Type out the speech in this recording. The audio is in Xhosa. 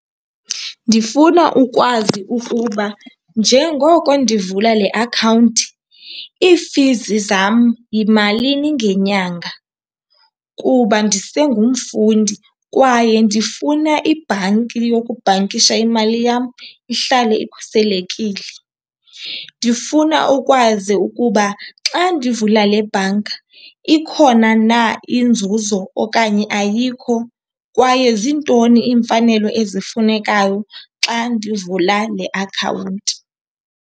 Ndifuna ukwazi ukuba njengoko ndivula le akhawunti ii-fees zam yimalini ngenyanga kuba ndisengumfundi kwaye ndifuna ibhanki yokubhankisha imali yam ihlale ikhuselekile. Ndifuna ukwazi ukuba xa ndivula le bhanka ikhona na inzuzo okanye ayikho, kwaye ziintoni iimfanelo ezifunekayo xa ndivula le akhawunti.